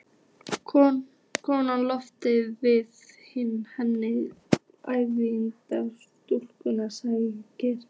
Konan lotin, við hlið henni, yfirgnæfði rödd stúlkunnar og skrækti